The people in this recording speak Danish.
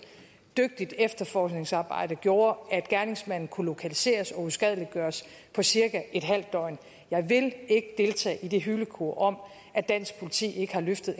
dygtigt efterforskningsarbejde gjorde at gerningsmanden kunne lokaliseres og uskadeliggørelse på cirka et halvt døgn jeg vil ikke deltage i det hylekor om at dansk politi ikke har løftet